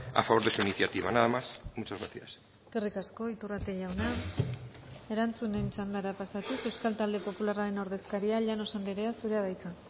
a favor de su iniciativa nada más muchas gracias eskerrik asko iturrate jauna erantzunen txandara pasatuz euskal talde popularraren ordezkaria llanos andrea zurea da hitza